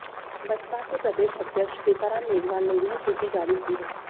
बसपा के प्रदेश अध्यक्ष सीताराम मेघवाल ने यह सूची जारी की है